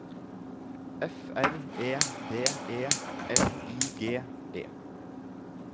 F R E D E L I G E